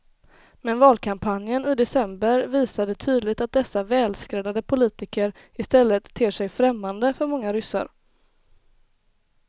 Men valkampanjen i december visade tydligt att dessa välskräddade politiker i stället ter sig främmande för många ryssar.